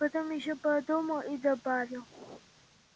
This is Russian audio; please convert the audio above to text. потом ещё подумал и добавил